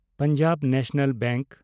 Punjab National bank